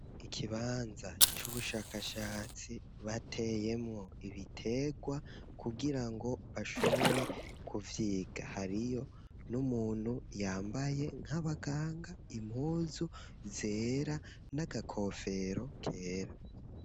Ikibanza c'ubushakashatsi, bateyemwo ibiterwa, kugira ngo bashobore kuvyiga; hariyo n'umuntu, yambaye nk'abaganga, impuzu zera, n'agakofero kera.